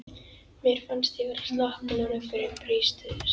Síðast þegar hann kom sagði ég að við skyldum hætta.